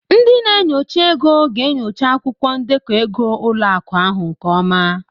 Ndị na-enyocha ego ga-enyocha akwụkwọ ndekọ ego ụlọ akụ ahụ nke ọma.